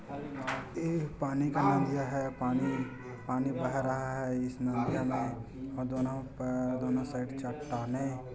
ई पानी का नदियाँ है पानी पानी बह रहा है इस नदियाँ में दोनों का अ दोनों साइड चट्टानें--